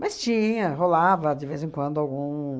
Mas tinha, rolava de vez em quando algum...